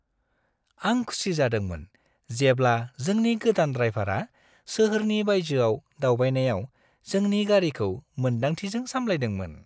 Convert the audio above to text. आं खुसि जादोंमोन जेब्ला जोंनि गोदान ड्राइभारा सोहोरनि बायजोआव दावबायनायाव जोंनि गारिखौ मोन्दांथिजों सामलायदोंमोन।